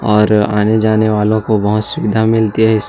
और आने-जाने वालो को बहोत सुविधा मिलती है इस--